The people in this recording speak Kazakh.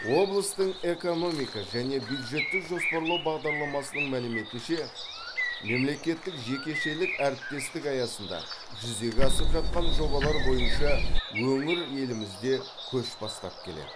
облыстың экономика және бюджеттік жоспарлау бағдарламасының мәліметінше мемлекеттік жекешелік әріптестік аясында жүзеге асып жатқан жобалар бойынша өңір елімізде көш бастап келеді